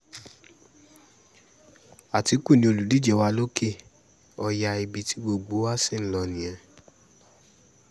àtìkù ni olùdíje wa lòkè-ọ̀yà ibi tí gbogbo wa sì ń lò nìyẹn